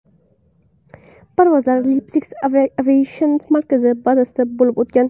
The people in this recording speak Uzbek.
Parvozlar Lipetsk aviatsion markazi bazasida bo‘lib o‘tgan.